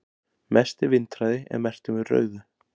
mesti vindhraði er merktur með rauðu